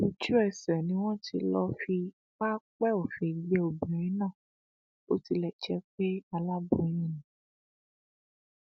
ojúẹsẹ ni wọn ti lọọ fi pápẹ òfin gbé obìnrin náà bó tilẹ jẹ pé aláboyún ni